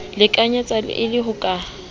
lekanyetsa e le ho ka